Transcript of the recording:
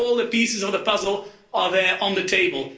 All the pieces of the puzzle are there on the table.